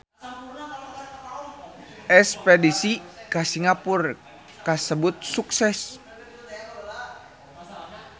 Espedisi ka Singapura kasebat sukses